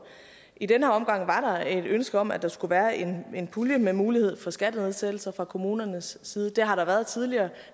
i den her omgang var der et ønske om at der skulle være en pulje med mulighed for skattenedsættelser fra kommunernes side det har der været tidligere